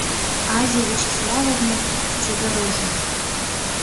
азе вячеславовне задорожной